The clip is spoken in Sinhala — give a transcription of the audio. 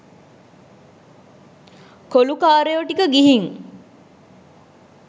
කොලුකාරයො ටික ගිහින්